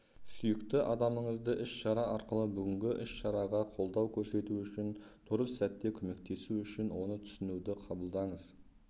сүйікті адамыңызды іс-шара арқылы бүгінгі іс-шараға қолдау көрсету үшін дұрыс сәтте көмектесу үшін оны түсінуді қабылдаңыз